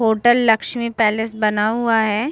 Hotel Lakshmi palace बना हुआ है।